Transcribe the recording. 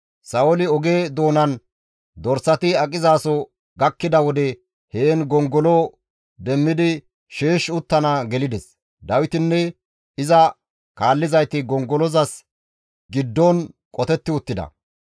Sa7ooli oge doonan dorsati aqizaso gakkida wode heen gongolo demmidi sheesh uttana gelides; Dawitinne iza kaallizayti gongolozas giddon qotetti uttida.